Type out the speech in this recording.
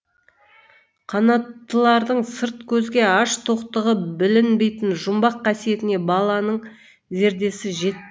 қанаттылардың сырт көзге аш тоқтығы білінбейтін жұмбақ қасиетіне баланың зердесі жетпеді